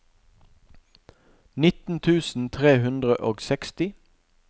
nitten tusen tre hundre og seksti